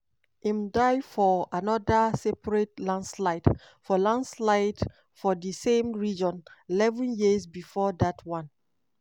im die fo anoda separate landslide for landslide for di same region eleven years before dat one.